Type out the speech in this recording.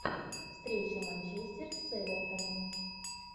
встреча манчестер с эвертоном